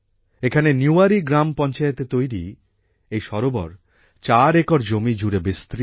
এখানের নিওয়ারি গ্রাম পঞ্চায়েতে তৈরি এই সরোবর চার একর জমি জুড়ে বিস্তৃত